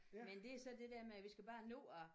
Men det er så det der med at vi skal bare nå at